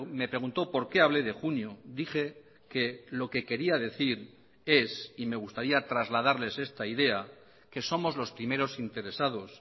me preguntó por qué hablé de junio dije que lo que quería decir es y me gustaría trasladarles esta idea que somos los primeros interesados